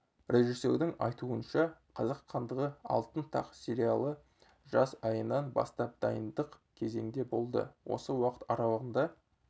режиссердің айтуынша қазақ хандығы алтын тақ сериалы жаз айынан бастап дайындық кезеңде болды осы уақыт аралығында